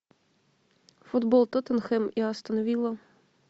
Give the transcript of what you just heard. футбол тоттенхэм и астон вилла